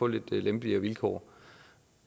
lidt lempeligere vilkår